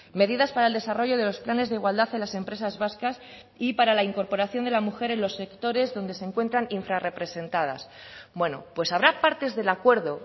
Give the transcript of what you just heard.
medidas para el desarrollo de los planes de igualdad en las empresas vascas y para la incorporación de la mujer en los sectores donde se encuentran infrarrepresentadas bueno pues habrá partes del acuerdo